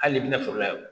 Hali n'i bɛna foro la yan